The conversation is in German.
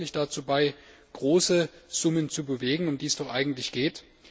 Trägt das wirklich dazu bei, große Summen zu bewegen, um die es doch eigentlich geht?